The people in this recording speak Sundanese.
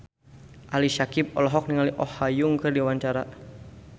Ali Syakieb olohok ningali Oh Ha Young keur diwawancara